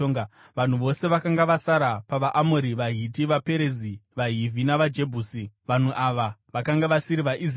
Vanhu vose vakanga vasara pavaAmori, vaHiti, vaPerizi, vaHivhi navaJebhusi (vanhu ava vakanga vasiri vaIsraeri),